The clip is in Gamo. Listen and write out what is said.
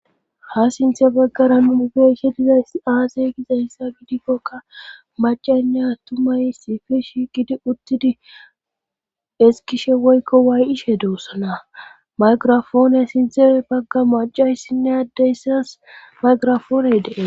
ha sinthe baggara nun beyishe dizays aaze gizayssa gidikkokka macaynne attumaysifish gidi uttidi eskishe woykko waayishe doossana mayqirafoone sidere bagga macayssinne addeyssas mayqirafooney dee